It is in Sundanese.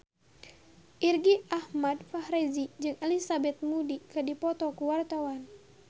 Irgi Ahmad Fahrezi jeung Elizabeth Moody keur dipoto ku wartawan